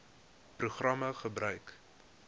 program gebruik